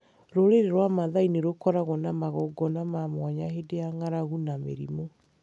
Rũrĩrĩ rwa Mathaai nĩ rũkoragwo na magongona ma mwanya hĩndĩ ya ng'aragu na mĩrimũ.